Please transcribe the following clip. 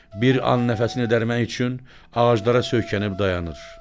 Bir an nəfəsini dərmək üçün ağaclara söykənib dayanır.